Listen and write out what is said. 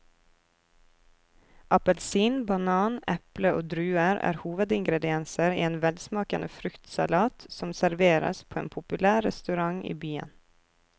Appelsin, banan, eple og druer er hovedingredienser i en velsmakende fruktsalat som serveres på en populær restaurant i byen.